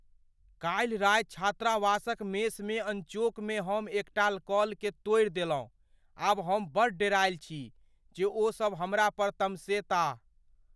काल्हि राति छात्रावासक मेसमे अनचोकमे हम एकटा कलकेँ तोड़ि देलहुँ, आब हम बड़ डेरायल छी जे ओ सब हमरा पर तमसेताह।